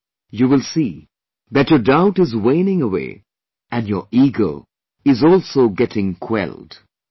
Then, you will see that your doubt is waning away and your ego is also getting quelled